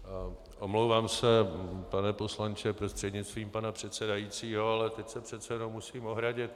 Omlouvám se, pane poslanče prostřednictvím pana předsedajícího, ale teď se přece jenom musím ohradit.